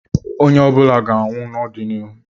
Onye ọ bụla ga-anwụ n'ọdịnihu.